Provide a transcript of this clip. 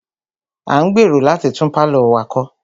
A ń gbèrò láti tún pálọ̀ wa kọ́.